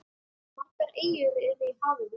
Margar eyjar eru í hafinu.